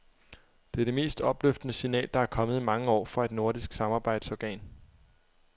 Det er det mest opløftende signal, der er kommet i mange år fra et nordisk samarbejdsorgan.